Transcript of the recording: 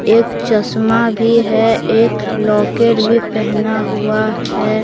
एक चश्मा भी है एक लॉकेट भी पहना हुआ है।